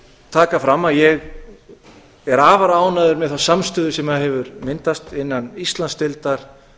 taka fram að ég er afar ánægður með þá samstöðu sem hefur myndast innan íslandsdeildar